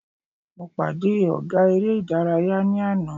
Mo pàdé ọ̀gá eré ìdárayá ní àná.